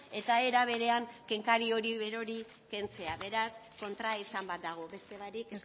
eta era berean kenkari hori berori kentzea beraz kontraesan bat dago beste barik